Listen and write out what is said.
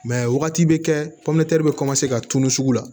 wagati bɛ kɛ bɛ ka tunun sugu la